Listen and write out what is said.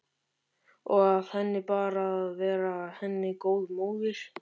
Og að henni ber að vera henni góð móðir.